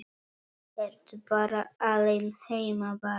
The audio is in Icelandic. Ertu bara alein heima barn?